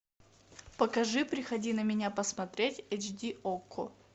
покажи приходи на меня посмотреть эйч ди окко